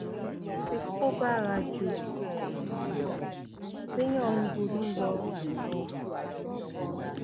tí kò bára ju ti ti ìgbà téèyàn ń ronú lọ